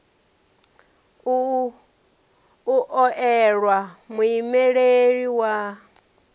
u o elwa muimeleli wa